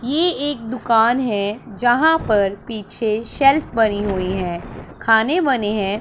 ये एक दुकान है जहां पर पीछे शेल्फ बनी हुई हैं खाने बने हैं।